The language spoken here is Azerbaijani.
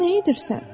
Sən nə edirsən?